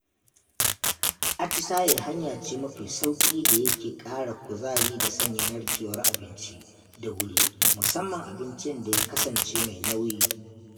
Atisaye hanya ce mafi sauƙi da ya ke ƙara kuzari da sanya narkewar abinci da wuri musamman abincin da ya kasance mai nauyi.